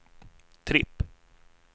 tripp